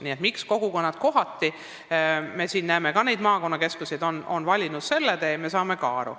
Nii et miks kogukonnad kohati on valinud selle tee, sellest me saame ka aru.